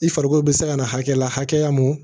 I farikolo bɛ se ka na hakɛ la hakɛya mun